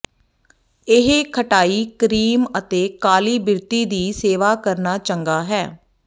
ਇਹ ਖਟਾਈ ਕਰੀਮ ਅਤੇ ਕਾਲੀ ਬਿਰਤੀ ਦੀ ਸੇਵਾ ਕਰਨਾ ਚੰਗਾ ਹੈ